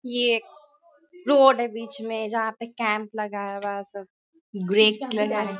ये एक रोड है बीच में जहाँ पे कैंप लगाया हुआ है। सब ग्रे कलर है।